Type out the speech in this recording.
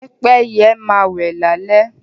Pẹ́pẹ́yẹ máa wẹ́ lálé